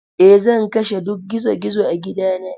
Eh, zan kashe duk gizo-gizo a gidana.